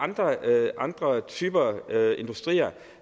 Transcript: andre typer af industrier